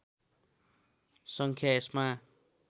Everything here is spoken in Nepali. सङ्ख्या यसमा